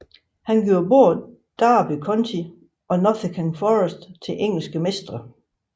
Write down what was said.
Han gjorde både Derby County og Nottingham Forest til engelske mestre